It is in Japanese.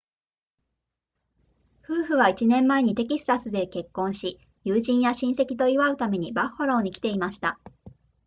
夫婦は1年前にテキサスで結婚し友人や親戚と祝うためにバッファローに来ていました